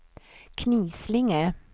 Knislinge